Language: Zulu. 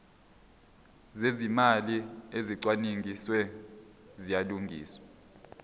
zezimali ezicwaningiwe ziyalungiswa